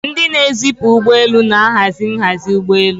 Ndị na-ezipụ ụgbọ elu na-ahazi nhazi ụgbọ elu.